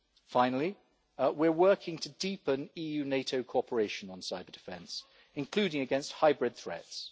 Finally, we are working to deepen EU-NATO cooperation on cyber-defence, including against hybrid threats.